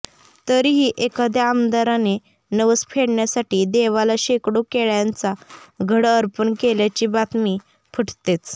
तरीही एखादय़ा आमदाराने नवस फेडण्यासाठी देवाला शेकडो केळय़ांचा घड अर्पण केल्याची बातमी फुटतेच